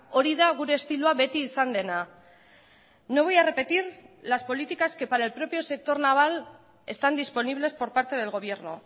hori da gure estiloa beti izan dena no voy a repetir las políticas que para el propio sector naval están disponibles por parte del gobierno